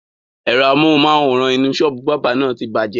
Ẹ̀rọ amohùn-máwórán inú sọ́ọ́bù báábà na ti bàjẹ́